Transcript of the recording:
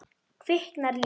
Kviknar líf.